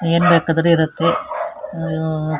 ಏನು ಬೇಕಾದ್ರು ಇರುತ್ತೆ ಹಮ್.